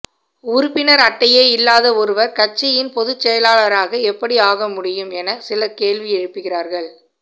உறுப்பினர் அட்டையே இல்லாத ஒருவர் கட்சியின் பொது செயலாளராக எப்படி ஆக முடியும் என சிலர் கேள்வி எழுப்புகிறார்கள்